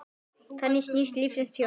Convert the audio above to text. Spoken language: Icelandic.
Þannig snýst lífsins hjól.